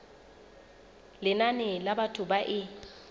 lenane la batho ba e